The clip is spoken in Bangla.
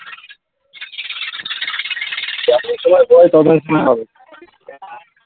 সময় হবে